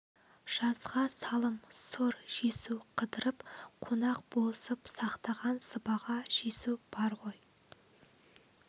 жазға салым сұр жесу қыдырып қонақ болысып сақтаған сыбаға жесу бар ғой